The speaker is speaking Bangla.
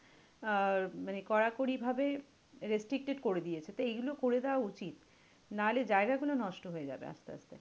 আহ মানে কড়াকড়িভাবে restricted করে দিয়েছে। তো এইগুলো করে দেওয়া উচিত। নাহলে জায়গা গুলো নষ্ট হয়ে যাবে আস্তে আস্তে।